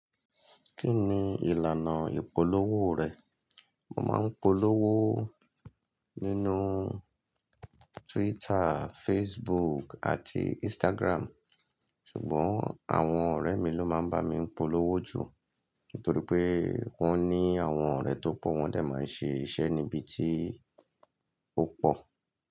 Kí ni ìlànà ìpolówó rẹ̀? Mo máa ń polówó nínú Twitter, Facebook àti Instagram. Ṣùgbọ́n àwọn ọ̀rẹ́ mi ló máa ń bá mi polówó jù. Nítorí pé wọ́n ní àwọn ọ̀rẹ́ tó pọ̀, wọ́n de máa ń ṣe iṣẹ́ níbi tí ó pọ̀.